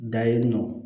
Da yen nɔ